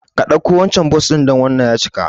Ka ɗauko wancan Bus ɗin dan wannan ya cika